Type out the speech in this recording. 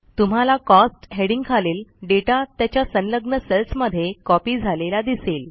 तुम्हाला cost heading खालील data त्याच्या संलग्न सेल्समध्ये कॉपी झालेला दिसेल